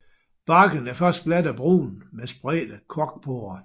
Barken er først glat og brun med spredte korkporer